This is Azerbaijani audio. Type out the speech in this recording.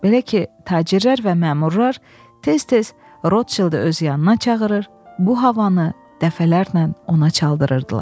Belə ki, tacirlər və məmurlar tez-tez Rodşildə öz yanına çağırır, bu havanı dəfələrlə ona çaldırırdılar.